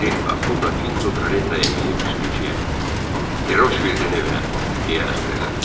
D'Ahuda Pinto karetaya minib sürücüyə "Deroşvildin evinə" deyə əmr elədi.